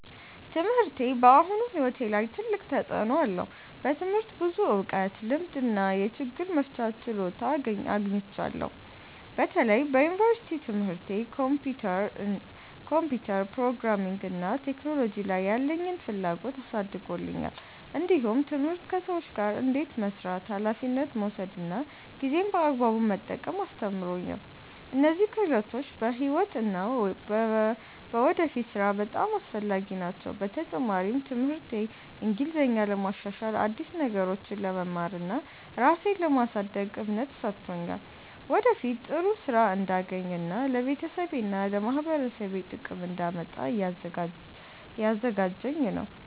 ትምህርቴ በአሁኑ ሕይወቴ ላይ ትልቅ ተፅዕኖ አለው። በትምህርት ብዙ እውቀት፣ ልምድ እና የችግር መፍቻ ችሎታ አግኝቻለሁ። በተለይ በዩኒቨርሲቲ ትምህርቴ ኮምፒውተር፣ ፕሮግራሚንግ እና ቴክኖሎጂ ላይ ያለኝን ፍላጎት አሳድጎልኛል። እንዲሁም ትምህርት ከሰዎች ጋር እንዴት መስራት፣ ኃላፊነት መውሰድ እና ጊዜን በአግባቡ መጠቀም አስተምሮኛል። እነዚህ ክህሎቶች በሕይወት እና በወደፊት ሥራ በጣም አስፈላጊ ናቸው። በተጨማሪም ትምህርቴ እንግሊዝኛን ለማሻሻል፣ አዲስ ነገሮችን ለመማር እና ራሴን ለማሳደግ እምነት ሰጥቶኛል። ወደፊት ጥሩ ሥራ እንዳገኝ እና ለቤተሰቤና ለማህበረሰቤ ጥቅም እንዳመጣ እያዘጋጀኝ ነው።